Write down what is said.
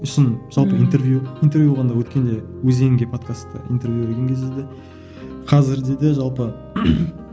сосын жалпы интервью интервью болғанда өткенде өзенге подкастта интервью берген кезде де қазірде де жалпы